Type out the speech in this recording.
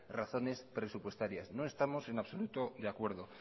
razones presupuestarias no estamos en absoluto de acuerdo